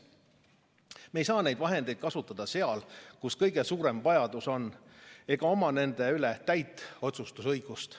Me ei saa neid vahendeid kasutada seal, kus kõige suurem vajadus on, ega oma nende üle täit otsustusõigust.